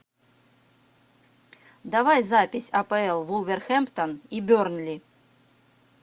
давай запись апл вулверхэмптон и бернли